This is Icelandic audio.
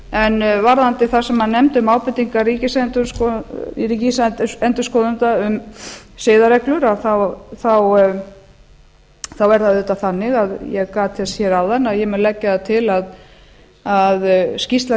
en varðandi það sem hann nefndi um ábendingar ríkisendurskoðanda um siðareglur að þá er það auðvitað þannig ég gat þess hér áðan ég mun leggja það til að skýrsla